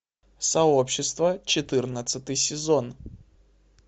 сообщество четырнадцатый сезон